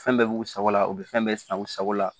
Fɛn bɛɛ bɛ u sago la u bɛ fɛn bɛɛ san u sago la